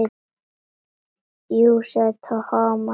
Jú sagði Thomas.